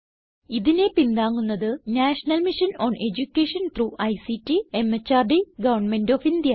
ഇതിനെ പിന്താങ്ങുന്നത് national mission on education through ICT MHRD government of India